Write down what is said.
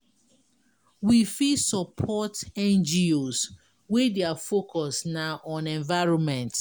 We fit support NGO's wey their focus na on environment